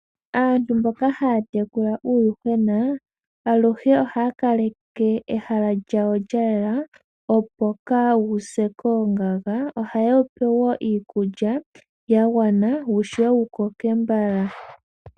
Aantu mboka ha ya tekula uuyuhwena aluhe oha ya kaleke ehala lyawo lya yela opo kaawu se koongaga. Oha ye wu pe woo iikulya yagwana wu shuwe wukoke mbala.